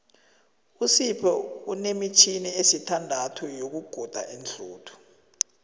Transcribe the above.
usipho unemitjhini esithandathu yokuguda iinhluthu